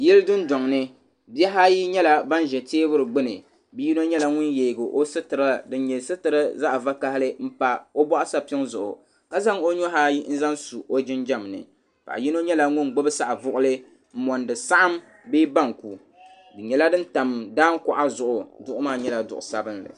Yili dundɔŋ ni bihi ayi yɛla ban zɛ tɛɛbuli gbuni bia yino yɛla ŋuni yiɛgi o sitira dini sitira dini yɛ zaɣi vakahali n pa o bɔɣu sapiŋ zuɣu ka zaŋ o nuhi ayi n zaŋ su o jinjam ni paɣa yino yɛla ŋuni gbubi saɣivuɣuli n monida saɣim bɛɛ banku di yɛla dini tam daangi kuɣa zuɣu duɣu maa yɛla duɣu sabinli.